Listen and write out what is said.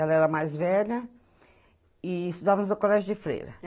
Ela era mais velha e estudávamos no colégio de Freira.